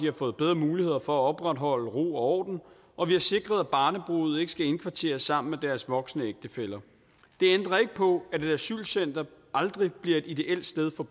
har fået bedre muligheder for at opretholde ro og orden og vi har sikret at barnebrude ikke skal indkvarteres sammen med deres voksne ægtefæller det ændrer ikke på at et asylcenter aldrig bliver et ideelt sted for